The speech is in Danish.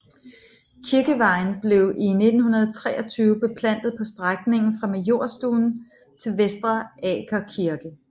Kirkeveien blev i 1923 beplantet på strækningen fra Majorstuen til Vestre Aker kirke